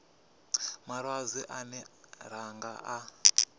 malwadze ane ra nga a